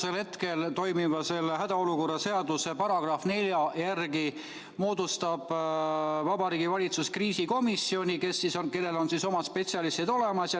Praegu toimiva hädaolukorra seaduse § 4 järgi moodustab Vabariigi Valitsus kriisikomisjoni, kus on omad spetsialistid olemas.